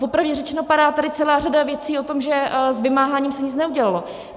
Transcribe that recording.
Popravdě řečeno, padá tady celá řada věcí o tom, že s vymáháním se nic neudělalo.